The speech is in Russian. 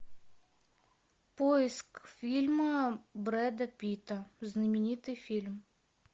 поиск фильма брэда питта знаменитый фильм